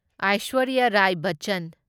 Aishwarya Rai Bachchan